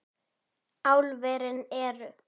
Álverin eru